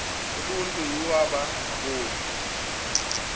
uluntu iwaba ngaboni